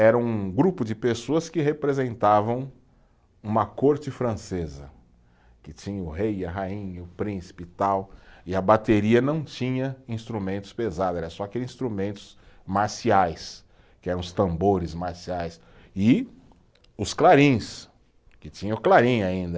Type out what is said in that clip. Era um grupo de pessoas que representavam uma corte francesa, que tinha o rei, a rainha, o príncipe e tal, e a bateria não tinha instrumentos pesados, era só aqueles instrumentos marciais, que eram os tambores marciais, e os clarins, que tinha o clarim ainda.